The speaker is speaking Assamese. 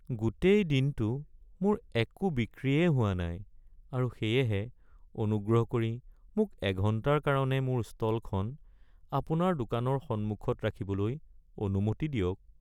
গোটেই দিনটো মোৰ একো বিক্ৰীয়েই হোৱা নাই আৰু সেয়েহে অনুগ্ৰহ কৰি মোক এঘণ্টাৰ কাৰণে মোৰ ষ্টলখন আপোনাৰ দোকানৰ সন্মুখত ৰাখিবলৈ অনুমতি দিয়ক। (বিক্ৰেতা)